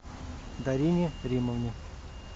дарине римовне